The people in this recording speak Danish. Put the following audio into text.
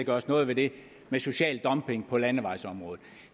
gøres noget ved det med social dumping på landevejsområdet